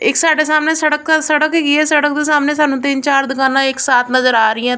ਇੱਕ ਸਾਡੇ ਸਾਹਮਣੇ ਸੜਕ ਸੜਕ ਹੈਗੀ ਏ ਸੜਕ ਦੇ ਸਾਹਮਣੇ ਸਾਨੂੰ ਤਿੰਨ ਚਾਰ ਦੁਕਾਨਾਂ ਇੱਕ ਸਾਥ ਨਜ਼ਰ ਆ ਰਹੀਐਂ।